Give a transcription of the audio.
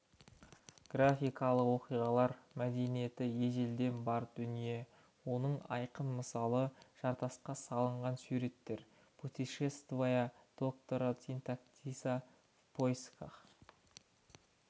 графикалық оқиғалар мәдениетте ежелден бар дүние оның айқын мысалы жартасқа салынған суреттер путешествия доктора синтаксиса впоисках